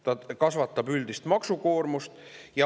See kasvatab üldist maksukoormust.